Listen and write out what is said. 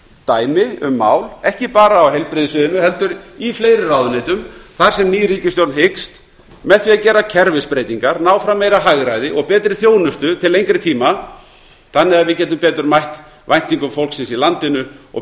dæmi um mál ekki bara á heilbrigðissviðinu heldur í fleiri ráðuneytum þar sem ný ríkisstjórn hyggst með því að gera kerfisbreytingar ná fram meira hagræði og betri þjónustu til lengri tíma þannig að við getum betur mætt væntingum fólksins í landinu og